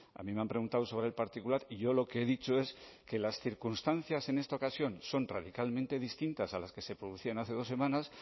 a mí me han preguntado sobre el particular y yo lo que he dicho es que las circunstancias en esta ocasión son radicalmente distintas a las que se producían hace dos semanas